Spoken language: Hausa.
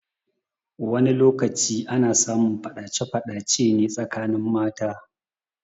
Wani lokaci ana samun faɗace faɗace ne tsakanin mata.